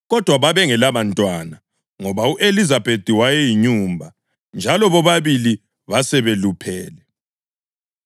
Kodwa babengelabantwana ngoba u-Elizabethi wayeyinyumba njalo bobabili basebeluphele.